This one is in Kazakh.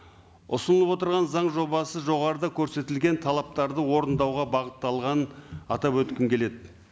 ұсынылып отырған заң жобасы жоғарыда көрсетілген талаптарды орындауға бағытталғанын атап өткім келеді